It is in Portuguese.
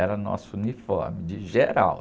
Era nosso uniforme de geral.